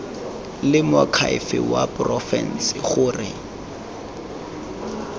le moakhaefe wa porofense gore